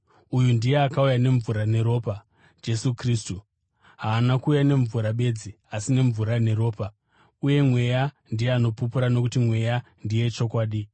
Uyu ndiye akauya nemvura neropa, Jesu Kristu. Haana kuuya nemvura bedzi, asi nemvura neropa. Uye Mweya ndiye anopupura, nokuti Mweya ndiye chokwadi.